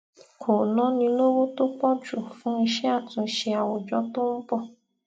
kò náni lówó tó pò jù fún iṣé àtúnṣe àwùjọ tó ń bò